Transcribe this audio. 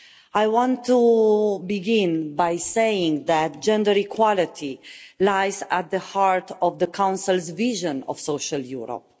I want to begin by saying that gender equality lies at the heart of the Council's vision of social Europe.